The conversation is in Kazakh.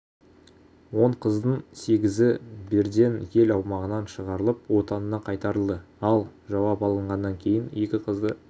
он қыздың сегізі берден ел аумағынан шығарылып отанына қайтарылды ал жауап алынғаннан кейін екі қызды